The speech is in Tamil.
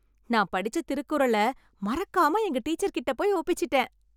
நான் படிச்ச திருக்குறள் மறக்காம எங்க டீச்சர் கிட்ட போய் ஒப்பிச்சிட்டேன்.